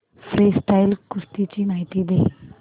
freestyle कुस्ती ची माहिती दे